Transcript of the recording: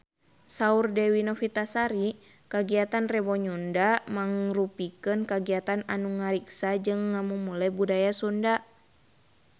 Saur Dewi Novitasari kagiatan Rebo Nyunda mangrupikeun kagiatan anu ngariksa jeung ngamumule budaya Sunda